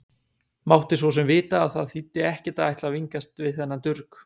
Mátti svo sem vita að það þýddi ekkert að ætla að vingast við þennan durg.